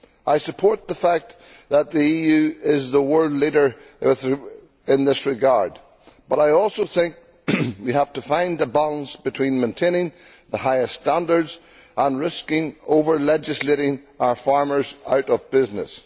I support the fact that the EU is the world leader in this regard, but I also think we have to find a balance between maintaining the highest standards and risking over legislating our farmers out of business.